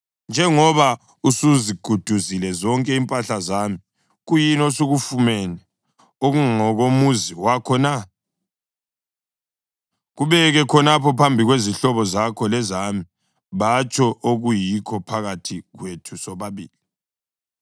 Njengoba usuziguduzile zonke impahla zami, kuyini osukufumene okungokomuzi wakho na? Kubeke khonapha phambi kwezihlobo zakho lezami batsho okuyikho phakathi kwethu sobabili.